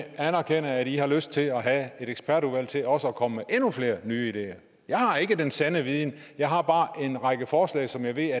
at i har lyst til at have et ekspertudvalg til også at komme med endnu flere nye ideer jeg har ikke den sande viden jeg har bare en række forslag som jeg ved at